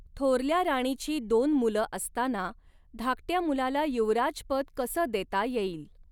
थोरल्या राणीची दोन मुलं असताना धाकट्या मुलाला युवराजपद कसं देता येईल